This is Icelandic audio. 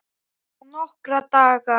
Bara nokkra daga.